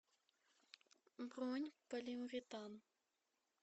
бронь полиуретан